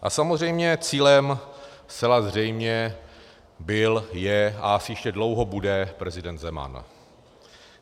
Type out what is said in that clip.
A samozřejmě cílem zcela zřejmě byl, je a asi ještě dlouho bude prezident Zeman.